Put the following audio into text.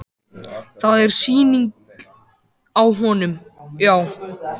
Það er sýning á honum, já.